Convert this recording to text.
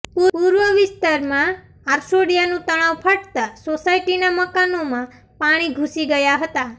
પૂર્વ વિસ્તારમાં આરસોડીયાનું તળાવ ફાટતા સોસાયટીના મકાનોમાં પાણી ઘૂસી ગયા હતા